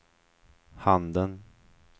handen